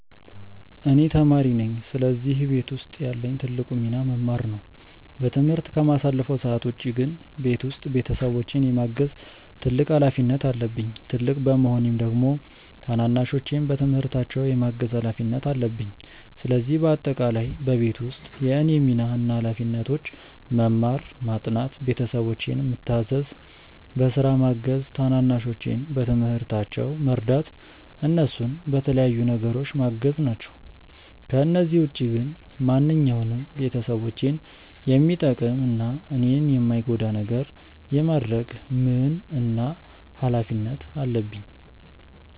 እኔ ተማሪ ነኝ ስለዚህ ቤት ውስጥ ያለኝ ትልቁ ሚና መማር ነው። በትምህርት ከማሳልፈው ሰዓት ውጪ ግን ቤት ውስጥ ቤተሰቦቼን የማገዝ ትልቅ ሀላፊነት አለብኝ። ትልቅ በመሆኔም ደግሞ ታናናሾቼን በትምህርታቸው የማገዝ ሀላፊነት አለብኝ። ስለዚህ በአጠቃላይ በቤት ውስጥ የእኔ ሚና እና ሀላፊነቶች መማር፣ ማጥናት፣ ቤተሰቦቼን ምታዘዝ፣ በስራ ማገዝ፣ ታናናሾቼን በትምህርታቸው መርዳት፣ እነሱን በተለያዩ ነገሮች ማገዝ ናቸው። ከነዚህ ውጪ ግን ማንኛውንም ቤተሰቦቼን የሚጠቅም እና እኔን የማይጎዳ ነገር የማድረግ ምን እና ሀላፊነት አለብኝ።